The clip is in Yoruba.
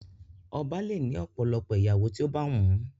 Ọba le ni ọ̀pọ̀lọpọ̀ ìyàwó ti o ba wun.